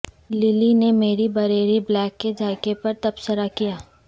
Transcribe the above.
للی نے میری بریری بلیک کے ذائقہ پر تبصرہ کیا